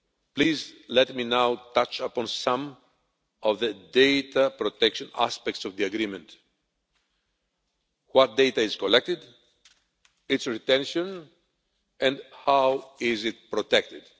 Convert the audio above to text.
Please let me now touch upon some of the data protection aspects of the agreement what data is collected, its retention and how it is protected.